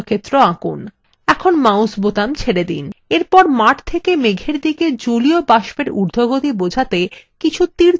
এরপর মাঠ খেকে মেঘের দিকে জলীয় বাষ্প এর উর্ধগতি বোঝাতে কিছু তীরচিহ্ন আঁকা যাক